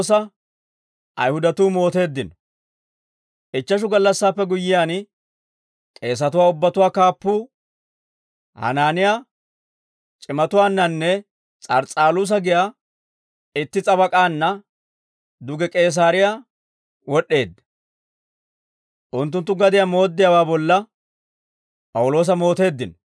Ichcheshu gallassaappe guyyiyaan, k'eesatuwaa ubbatuwaa kaappuu, Hanaaniyaa, c'imatuwaannannee S'ars's'aluusa giyaa itti s'abak'aanna duge K'iisaariyaa wod'd'eedda; unttunttu gadiyaa mooddiyaawaa bolla P'awuloosa mooteeddino.